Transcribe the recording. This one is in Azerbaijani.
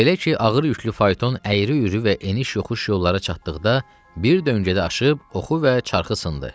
Belə ki, ağır yüklü fayton əyri-üyrü və eniş-yoxuş yollara çatdıqda bir döngədə aşıb oxu və çarxı sındı.